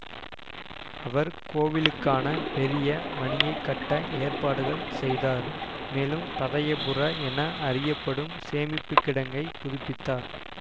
அவர் கோவிலுக்கான பெரிய மணியை கட்ட ஏற்பாடுகள் செய்தார் மேலும் பதயபுர என அறியப்படும் சேமிப்பு கிடங்கை புதுப்பித்தார்